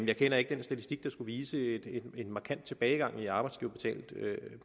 jeg kender ikke den statistik der skulle vise en markant tilbagegang i arbejdsgiverbetalte